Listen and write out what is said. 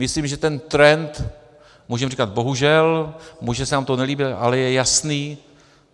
Myslím, že ten trend - můžeme říkat bohužel, může se nám to nelíbit, ale je jasný.